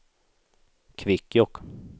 Kvikkjokk